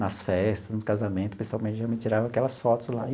Nas festas, nos casamento, pessoalmente, geralmente eu tirava aquelas fotos lá.